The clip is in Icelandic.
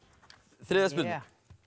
þriðja spurning